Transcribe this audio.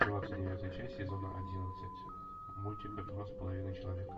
двадцать девятая часть сезона одиннадцать мультика два с половиной человека